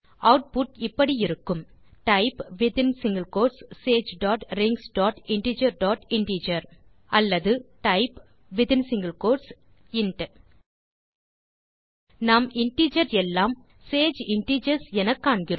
output இப்படியிருக்கும் type Sage dot rings dot integer dot integer பிபிஆர் p type int நாம் integers எல்லாம் Sage integers எனக்காண்கிறோம்